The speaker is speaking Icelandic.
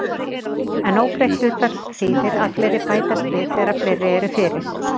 En óbreytt hlutfall þýðir að fleiri bætast við þegar fleiri eru fyrir.